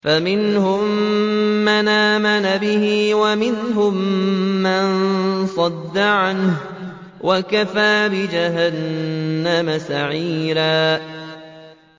فَمِنْهُم مَّنْ آمَنَ بِهِ وَمِنْهُم مَّن صَدَّ عَنْهُ ۚ وَكَفَىٰ بِجَهَنَّمَ سَعِيرًا